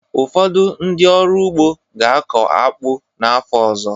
Ụfọdụ ndị ọrụ ugbo ga-akụ akpu n'afọ ọzọ